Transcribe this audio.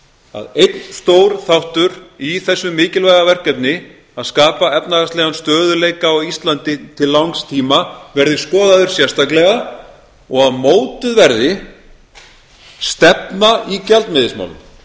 að einn stór þáttur í þessu mikilvæga verkefni að skapa efnahagslegan stöðugleika á íslandi til langs tíma verði skoðaður sérstaklega og að mótuð verði stefna í gjaldmiðilsmálum